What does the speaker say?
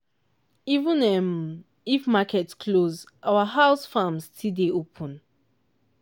even um if market close our house farm still dey open.